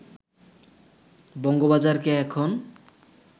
বঙ্গবাজারকে এখন